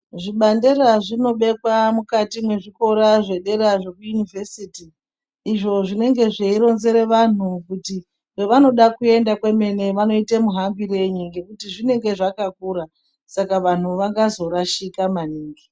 Zvibandera zvinobekwa mukati mezvikora zvedera zvekuyunivhesiti. lzvo zvinenge zveironzera vanhu kuti kwavanoda kuenda kwemene vanoita muhambirei ngekuti zvinenge zvakakura .Saka vanhu vangazorashika maningi.